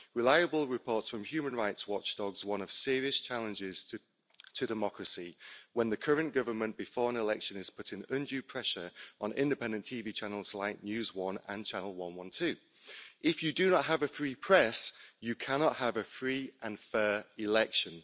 Reliable reports from human rights watchdogs warn of serious challenges to democracy when the current government, before an election, is putting undue pressure on independent TV channels like News One and Channel 112. If you do not have a free press, you cannot have a free and fair election.